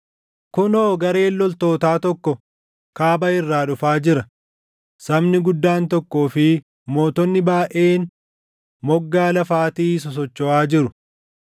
“Kunoo! Gareen loltootaa tokko kaaba irraa dhufaa jira; sabni guddaan tokkoo fi mootonni baayʼeen moggaa lafaatii sosochoʼaa jiru.